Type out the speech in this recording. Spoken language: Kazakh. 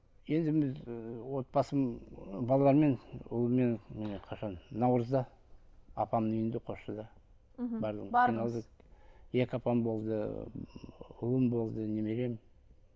енді мен ыыы отбасым ы баламмен ұлыммен міне қашан наурызда апамның үйінде қосшыда мхм бардыңыз екі апам болды ы ұлым болды немерем